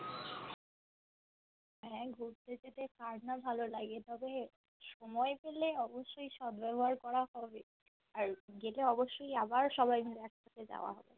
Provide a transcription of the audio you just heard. হ্যাঁ ঘুরতে যেতে কার না ভালো লাগে তবে সময় পেলে অবশ্যই সদ্ব্যবহার করা হবে আর যেটা অবশ্যই আবার সবাই মিলে একসাথে যাওয়া